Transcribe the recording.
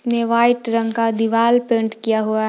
इसमें व्हाइट रंग का दिवाल पेंट किया हुआ--